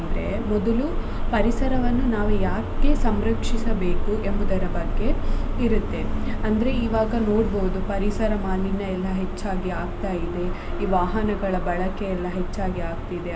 ಅಂದ್ರೆ ಮೊದಲು ಪರಿಸರವನ್ನು ನಾವು ಯಾಕೆ ಸಂರಕ್ಷಿಸಬೇಕು ಎಂಬುದರ ಬಗ್ಗೆ ಇರುತ್ತೆ ಅಂದ್ರೆ ಇವಾಗ ನೋಡ್ಬೋದು ಪರಿಸರ ಮಾಲಿನ್ಯ ಎಲ್ಲ ಹೆಚ್ಚಾಗಿ ಆಗ್ತಾ ಇದೆ ಈ ವಾಹನಗಳ ಬಳಕೆ ಎಲ್ಲ ಹೆಚ್ಚಾಗಿ ಆಗ್ತಿದೆ .